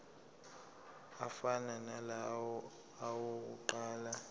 afana nalawo awokuqala